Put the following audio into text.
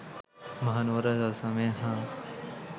මහනුවර රජ සමය හා